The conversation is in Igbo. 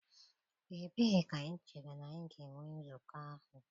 Ebee ka anyị chere na anyị ga-enwe nzukọ ahụ?